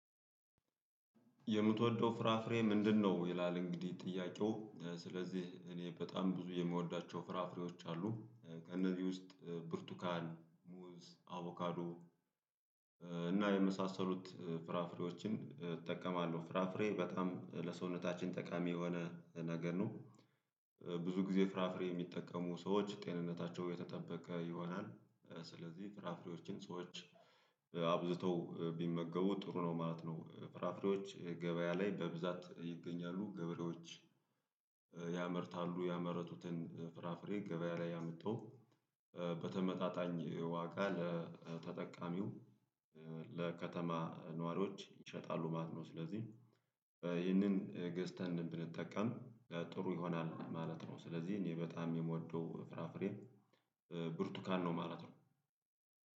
የምትወደው ፍራፍሬ ምንድነው? ይላል እንግዲህ ጥያቄው ስለዚህ እኔ በጣም ብዙ የምወዳቸው ፍራፍሬዎች አሉ እነዚህ ውስጥ ብርቱካን ሙዝ አቮካዶ የመሳሰሉት ፍራፍሬዎችን እጠቀማለሁ። ፍራፍሬ በጣም ለሰውነታችን ጠቃሚ የሆነ ነገር ነው። ብዙ ጊዜ ፍራፍሬ የሚጠቀሙ ሰዎች ጤንነታቸው የተጠበቀ ይሆናል። ስለዚህ ፍራፍሬዎችን ሰዎች አብዝተው ቢመገቡ ጥሩ ነው ማለት ነው። ፍራፍሬዎች ገበያ ላይ በብዛት ይገኛሉ ገበሬዎች ያመርታሉ ያመረቱትን ፍራፍሬ ገበያ ላይ አምጥተው በተመታታኝ ዋጋ ለተጠቃሚው ለከተማ ነዋሪዎች ይሸጣሉ ማለት ነው። ስለዚህ ይህንን ገዝተን ብንጠቀም ጥሩ ይሆናል ማለት ነው። ስለዚህ እኔ በጣም የምወደው ፍራፍሬ ብርቱካን ነው ማለት ነው።